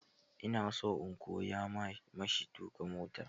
Ina so in koya ma shi tuka mota.